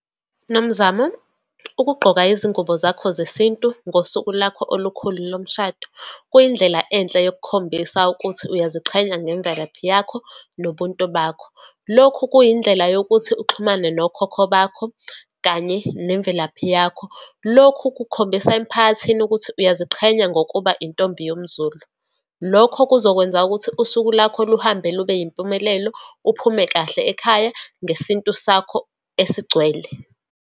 Nomzamo, ukuqgoka izingubo zakho zesintu ngosuku lakho olukhulu lomshado, kuyindlela enhle yokukhombisa ukuthi uyaziqhenya ngemvelaphi yakho nobuntu bakho. Lokhu kuyindlela yokuthi uxhumane nokhokho bakho, kanye nemvelaphi yakho. Lokhu kukhombisa, emphakathini ukuthi uyaziqhenya ngokuba intombi yomZulu. Lokho kuzokwenza ukuthi usuku lakho luhambe lube yimpumelelo, uphume kahle ekhaya ngesintu sakho esigcwele.